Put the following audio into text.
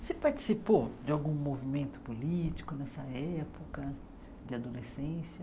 Você participou de algum movimento político nessa época de adolescência?